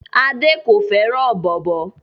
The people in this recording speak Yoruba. Ade kò fẹ́ràn bóbò